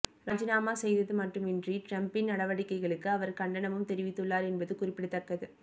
ராஜினாமா செய்தது மட்டுமின்றி டிரம்ப்பின் நடவடிக்கைகளுக்கு அவர் கண்டனமும் தெரிவித்துள்ளார் என்பது குறிப்பிடத்தக்கது